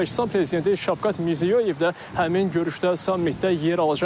Özbəkistan prezidenti Şavqat Mirziyoyev də həmin görüşdə, sammitdə yer alacaq.